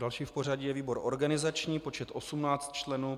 Další v pořadí je výbor organizační, počet 18 členů.